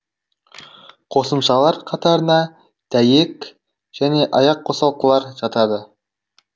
қосымшалар қатарына дәйек және аяқ қосалқылар жатады